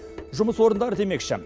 жұмыс орындары демекші